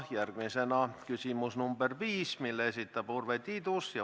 Järgmisena küsimus nr 5, mille esitab Urve Tiidus.